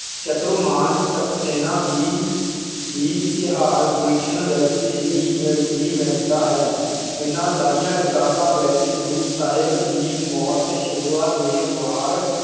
ਚਤੁਰਮਾਨ ਸਕਸੇਨਾ ਦੀ ਦੀ ਗੁਲਸ਼ਨ ਵਿਚ ਵੀ ਮਿ ਵੀ ਮਿਲਦਾ ਹੈ। ਇਹਨਾਂ ਸਾਰੀਆਂ ਕਿਤਾਬਾਂ ਵਿੱਚ ਗੁਰੁ ਸਹਿਬ ਦੀ ਮੌਤ ਸ਼ੁਰੂਆਤ ਦੇ ਵਾਰ